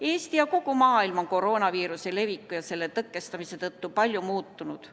Eesti ja kogu maailm on koroonaviiruse leviku ja selle tõkestamise tõttu palju muutunud.